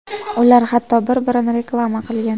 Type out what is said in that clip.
Ular hatto bir-birini reklama qilgan.